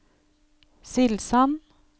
Silsand